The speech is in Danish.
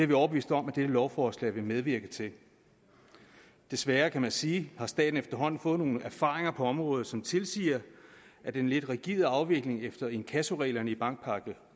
vi overbevist om at dette lovforslag vil medvirke til desværre kan man sige har staten efterhånden fået nogle erfaringer på området som tilsiger at den lidt rigide afvikling efter inkassoreglerne i bankpakke